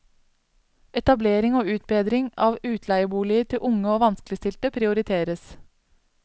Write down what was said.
Etablering og utbedring av utleieboliger til unge og vanskeligstilte prioriteres.